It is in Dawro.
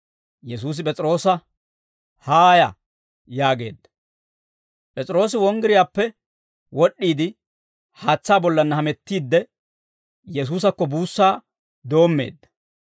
Yesuusi P'es'iroosa, «Haaya!» yaageedda. P'es'iroosi wonggiriyaappe wod'd'iide, haatsaa bollanna hamettiidde, Yesuusakko buussaa doommeedda.